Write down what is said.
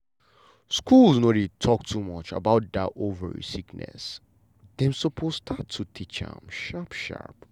school no dey talk much about that ovary sickness dem suppose start to teach am sharp sharp.